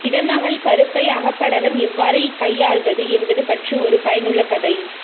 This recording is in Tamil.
இடமகல் கருப்பை அகப்படலம் எவ்வாறு கையாள்வது என்பது பற்றிய ஒரு பயனுள்ள கதை